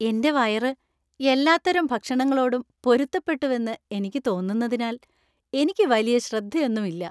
എന്‍റെ വയറ് എല്ലാത്തരം ഭക്ഷണങ്ങളോടും പൊരുത്തപ്പെട്ടുവെന്ന് എനിക്ക് തോന്നുന്നതിനാൽ എനിക്ക് വലിയ ശ്രദ്ധ ഒന്നും ഇല്ല.